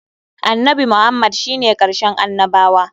Annabi Muhammad shi ne karshen annabawa.